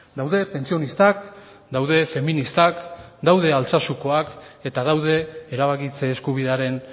daude pentsionistak daude feministak daude altsasukoak eta daude erabakitze eskubidearen